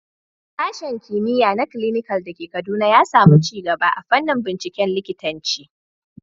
Sashen Kimiyya na Clinical da ke Kaduna ya samu ci gaba a fannin binciken likitanci.